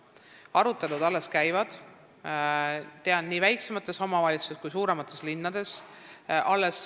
Tean, et arutelud alles käivad, nii väiksemates omavalitsustes kui ka suuremates linnades.